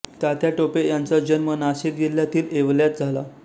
तात्या टोपे यांचा जन्म नाशिक जिल्ह्यातील येवल्यात झाला